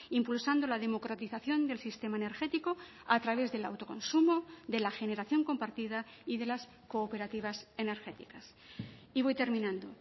impulsando la democratización del sistema energético a través del autoconsumo de la generación compartida y de las cooperativas energéticas y voy terminando